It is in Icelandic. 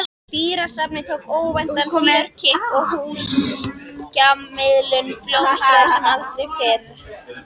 Dýrasafnið tók óvæntan fjörkipp og hjúskaparmiðlunin blómstraði sem aldrei fyrr.